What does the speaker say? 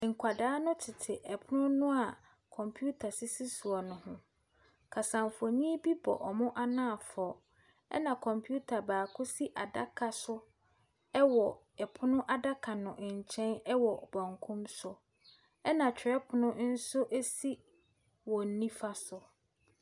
Nkwadaa no tete pono no a kɔmputa sisi soɔ no ho. Kasamfonin bi bɔ wɔn anafoɔ, ɛna kɔmputa baako si adaka so wɔ pono adaka no nkyɛn wɔ benkum so. Ɛna twerɛpono nso si wɔn nifa so.